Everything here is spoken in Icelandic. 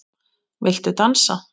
Viltu dansa?